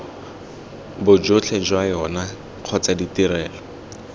bojotlhe jwa yona kgotsa ditrelo